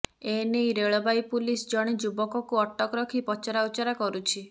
ଏନେଇ railway police ଜଣେ ଯୁବକକୁ ଅଟକ ରଖି ପଚରାଉଚରା କରୁଛି